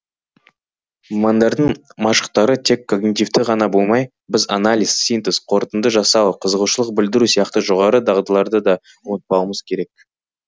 мамандардың машықтары тек когнитивті ғана болмай біз анализ синтез қорытынды жасау қызығушылық білдіру сияқты жоғары дағдыларды да ұмытпауымыз керек